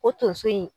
O tonso in